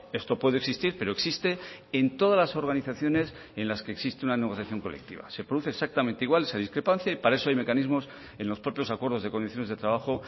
esto puede existir pero existe en todas las organizaciones en las que existe una negociación colectiva se produce exactamente igual esa discrepancia y para eso hay mecanismos en los propios acuerdos de condiciones de trabajo